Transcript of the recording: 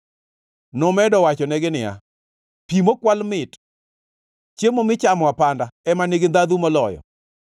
Nomedo wachonegi niya, “Pi mokwal mit, chiemo michamo apanda ema nigi ndhandhu moloyo!”